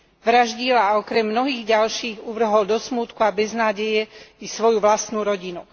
Vraždil a okrem mnohých ďalších uvrhol do smútku a beznádeje i svoju vlastnú rodinu.